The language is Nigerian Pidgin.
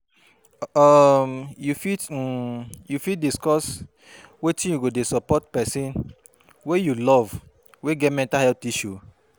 um you fit um you fit discuss wetin you go do to support pesin wey you love wey get mental health issues?